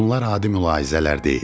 Bunlar adi mülahizələr deyildi.